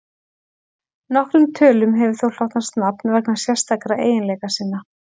Nokkrum tölum hefur þó hlotnast nafn vegna sérstakra eiginleika sinna.